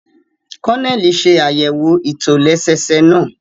Kononeli ṣe àyẹwò itolẹsẹẹsẹ náà